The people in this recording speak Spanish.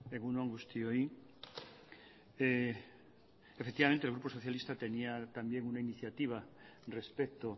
egun on guztioi efectivamente el grupo socialista tenía también una iniciativa respecto